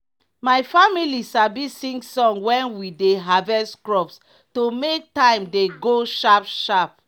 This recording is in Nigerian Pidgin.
my family sabi sing song when we dey harvest crops to make time dey go sharp sharp.